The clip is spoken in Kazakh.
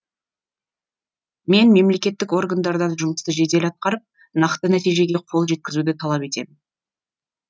мен мемлекеттік органдардан жұмысты жедел атқарып нақты нәтижеге қол жеткізуді талап етемін